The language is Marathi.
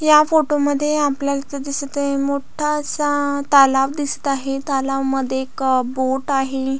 या फोटोमध्ये आपल्याला इथ दिसत आहे मोठासा तालाव दिसत आहे तालाव मध्ये एक बोट आहे.